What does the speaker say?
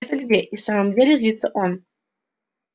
это где и в самом деле злится он